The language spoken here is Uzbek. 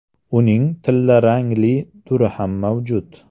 Uning tillarangli turi ham mavjud.